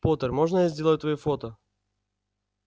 поттер можно я сделаю твоё фото